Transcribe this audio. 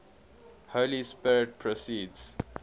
holy spirit proceeds